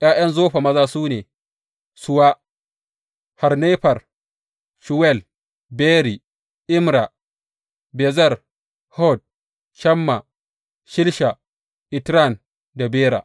’Ya’yan Zofa maza su ne, Suwa, Harnefer, Shuwal, Beri, Imra, Bezer, Hod, Shamma, Shilsha, Itran da Bera.